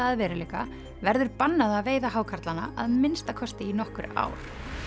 að veruleika verður bannað að veiða hákarlana að minnsta kosti í nokkur ár